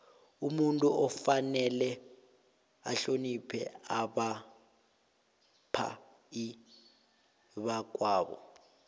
umuntu kufanele ahloniphe abaphai bakwabo